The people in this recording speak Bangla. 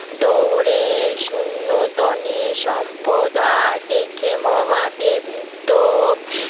দৌড়ে শূন্য দোনে সম্প্রদা দেখে মহাদেবৃত্ত